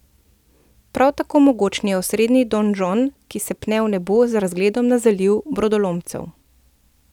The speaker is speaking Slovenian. Prav tako mogočni osrednji donžon, ki se pne v nebo z razgledom na Zaliv brodolomcev.